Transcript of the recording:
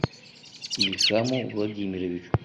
ильхаму владимировичу